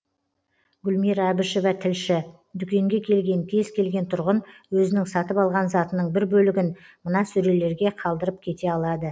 гүлмира әбішева тілші дүкенге келген кез келген тұрғын өзінің сатып алған затының бір бөлігін мына сөрелерге қалдырып кете алады